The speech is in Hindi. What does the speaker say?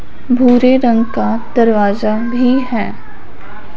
भूरे रंग का दरवाजा भी है।